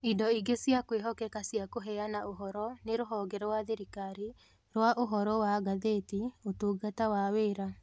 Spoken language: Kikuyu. Indo ingĩ cia kwĩhokeka cia kũheana ũhoro nĩ Rũhonge rwa Thirikari rwa Ũhoro wa Ngathĩti, Ũtungata wa Wĩra